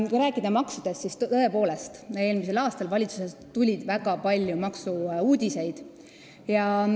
Kui rääkida maksudest, siis võib öelda, et tõepoolest tuli eelmisel aastal valitsusest väga palju maksu-uudiseid.